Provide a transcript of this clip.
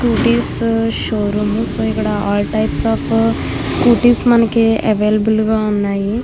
Scooties showroom . ఇక్కడ types of scooties మనకి available గ ఉన్నాయ్.